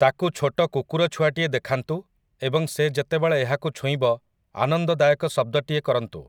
ତାକୁ ଛୋଟ କୁକୁର ଛୁଆଟିଏ ଦେଖାନ୍ତୁ ଏବଂ ସେ ଯେତେବେଳେ ଏହାକୁ ଛୁଇଁବ ଆନନ୍ଦଦାୟକ ଶବ୍ଦଟିଏ କରନ୍ତୁ ।